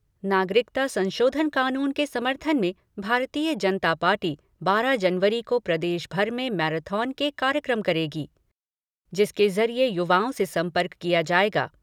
नागरिकता संशोधन कानून के समर्थन में भारतीय जनता पार्टी बारह जनवरी को प्रदेश भर में मैराथन के कार्यक्रम करेगी जिसके जरिए युवाओं से संपर्क किया जाएगा।